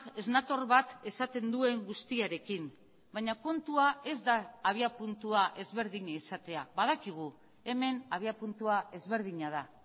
ez nator bat esaten duen guztiarekin baina kontua ez da abiapuntua ezberdina izatea badakigu hemen abiapuntua ezberdina da